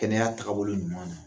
Kɛnɛya takabolo ɲuman na